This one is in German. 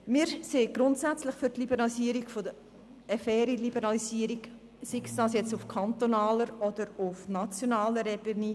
Wir sind grundsätzlich für eine faire Liberalisierung, sei es auf kantonaler oder sei es auf nationaler Ebene.